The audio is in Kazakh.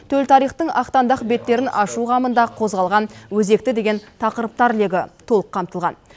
төл тарихтың ақтаңдақ беттерін ашу қамында қозғалған өзекті деген тақырыптар легі толық қамтылған